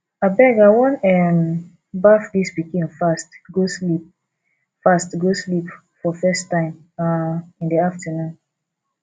abeg i wan um baff dis pikin fast go sleep fast go sleep for first time um in the afternoon